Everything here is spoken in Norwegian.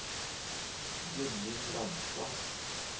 Gudmund Ramstad